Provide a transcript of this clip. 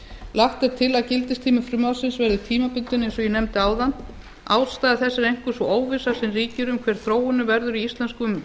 lagt er til að gildistími frumvarpsins verði tímabundinn eins og ég nefndi áðan ástæða þess er einkum sú óvissa sem ríkir um hver þróunin verður